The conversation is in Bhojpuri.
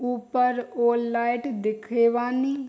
ऊपर वो लाइट दिखे बानी।